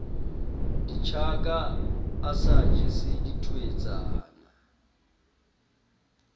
ditjaka a sa jese thweetsana